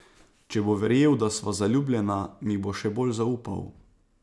Če bo verjel, da sva zaljubljena, mi bo še bolj zaupal.